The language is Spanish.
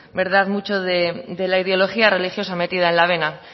mucho de la ideología religiosa metida en la vena